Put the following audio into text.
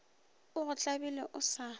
o go tlabile o sa